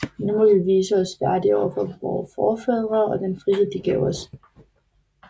Nu må vi vise os værdige overfor vore forfædre og den frihed de gav os